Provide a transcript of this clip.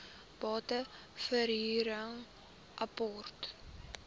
bate verhuring apart